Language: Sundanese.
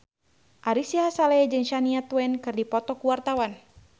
Ari Sihasale jeung Shania Twain keur dipoto ku wartawan